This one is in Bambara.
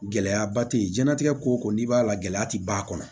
Gɛlɛyaba te yen jiɲɛnatigɛ ko ko n'i b'a la gɛlɛya ti ban